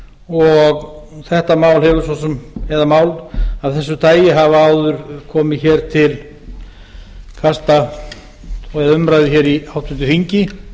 og þetta mál eða mál af þessu tagi hafa áður komið hér til umræðu hér í háttvirtri þingi